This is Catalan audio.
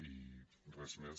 i res més